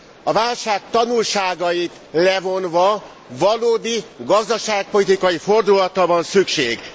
A válság tanulságait levonva, valódi gazdaságpolitikai fordulatra van szükség.